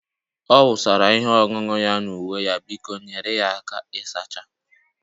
Ọ wụsara ihe ọṅụṅụ ya na uwe ya, biko nyere ya aka ịsacha